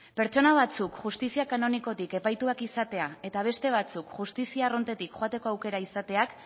pertsona batzuk justizia kanonikotik epaituak izatea eta beste batzuk justizia arruntetik joateko aukera izateak